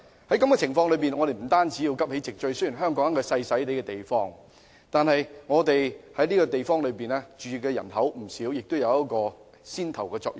在這種情況下，我們要急起直追，雖然香港是一個細小的地方，但是在這個地方居住的人口並不少，而且香港應起牽頭的作用。